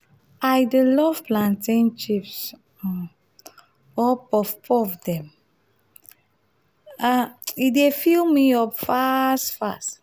i dey love plantain chips um or puff-puff dem um e dey fill me up fast fast.